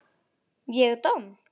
Ég domm?